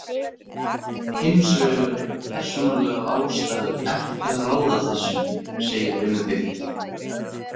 Hins vegar eiga persónulegar ástæður ekki að ráða þessu, segir Benedikt.